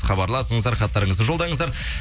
хабарласыңыздар хаттарыңызды жолдаңыздар